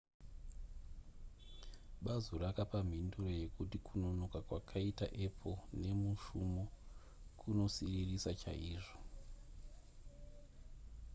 bazu rakapa mhinduro yekuti kunonoka kwakaita apple nemushumo kunosiririsa chaizvo